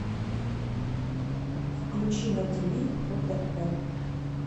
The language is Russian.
включи на тиви отр